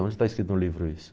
Onde está escrito no livro isso?